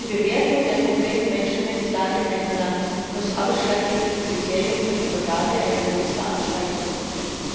Die Bewertung der konkreten Menschenrechtslage in einem Land muss ausschlaggebendes Kriterium für die Vergabe einer Großveranstaltung sein.